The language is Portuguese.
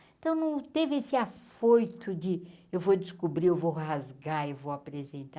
Então, não teve esse afoito de eu vou descobrir, eu vou rasgar e vou apresentar.